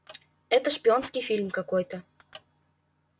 это шпионский фильм какой-то